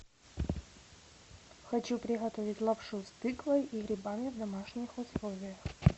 хочу приготовить лапшу с тыквой и грибами в домашних условиях